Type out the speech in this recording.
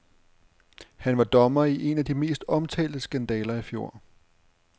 Han var dommer i en af de mest omtalte skandaler i fjor.